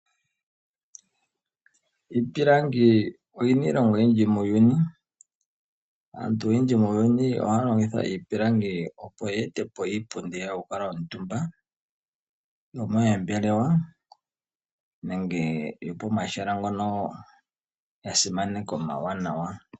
Iipilangi oyina iilonga oyindji muuyuni. Aantu oyendji muuyuni ohaya longitha iipilangi opo ya ete po iipundi yokukala omutumba moombelewa nenge yo pomahala ngono ga simanekwa omawanawa.